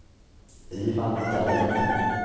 Ivan Dahlin